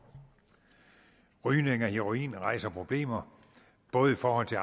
rygning af heroin rejser problemer både i forhold til